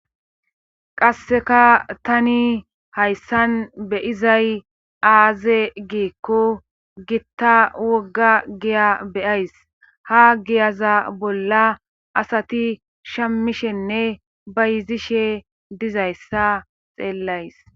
Qasseka tani hayssan beyizay aaze giikko gitta wogga giya beyays ha giyaza bolla asati shammishenne ba yizishe dizayssa xeellays.